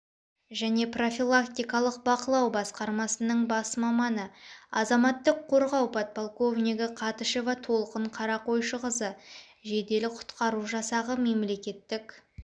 және профилактикалық бақылау басқармасының бас маманы азаматтық қорғау подполковнигі қатышева толқын қарақойшықызы жедел-құтқару жасағы мемлекеттік